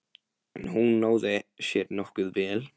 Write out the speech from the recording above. En hún náði sér nokkuð vel.